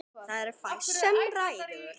Það er fæst sem ræður.